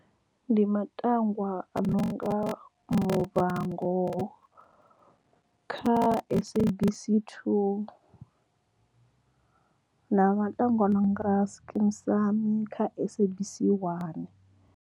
Ndi matangwa a no nga Muvhango kha SABC 2 na matangwa a nonga Skeem Saam kha SABC 1.